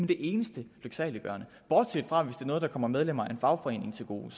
det eneste lyksaliggørende bortset fra hvis det er noget der kommer medlemmer af en fagforening til gode